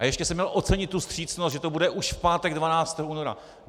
A ještě jsem měl ocenit tu vstřícnost, že to bude už v pátek 12. února.